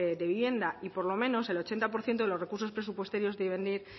de vivienda y por lo menos el ochenta por ciento de los recursos presupuestarios deben ir